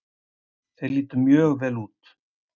Þeir litu mjög vel út.